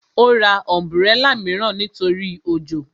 Ó ra ọ̀nbúrẹlà mìíràn nítorí òjò